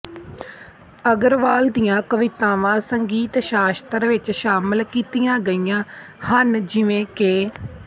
ਅਗਰਵਾਲ ਦੀਆਂ ਕਵਿਤਾਵਾਂ ਸੰਗੀਤ ਸ਼ਾਸਤਰ ਵਿਚ ਸ਼ਾਮਲ ਕੀਤੀਆਂ ਗਈਆਂ ਹਨ ਜਿਵੇਂ ਕਿ